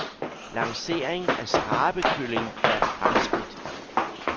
Lancering af skrabekylling er et fremskridt.